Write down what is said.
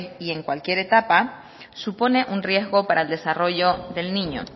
y en cualquier etapa supone un riesgo para el desarrollo del niño